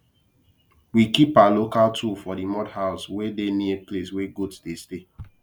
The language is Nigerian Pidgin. we keep our local tool for the mud house wey dey near place wey goat dey stay